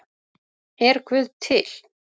Er guð til